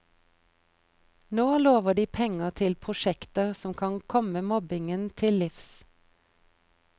Nå lover de penger til prosjekter som kan komme mobbingen til livs.